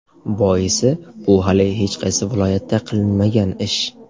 Boisi bu hali hech qaysi viloyatda qilinmagan ish.